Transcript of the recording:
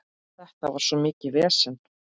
Þetta var svo mikið vesen.